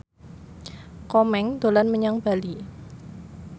Komeng dolan menyang Bali